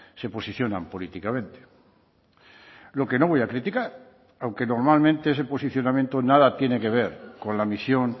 se posicionan políticamente lo que no voy a criticar aunque normalmente ese posicionamiento nada tiene que ver con la misión